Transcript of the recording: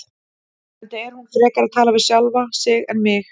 Enda er hún frekar að tala við sjálfa sig en mig.